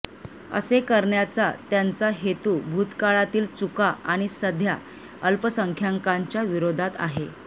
असे करण्याचा त्यांचा हेतू भूतकाळातील चुका आणि सध्या अल्पसंख्यांकांच्या विरोधात आहे